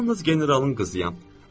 Yalnız generalın qızıyam.